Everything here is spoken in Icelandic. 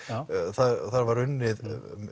það var unnið